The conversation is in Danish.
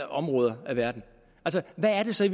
områder af verden hvad er det så i